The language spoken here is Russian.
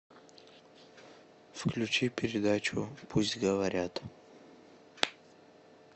включи передачу пусть говорят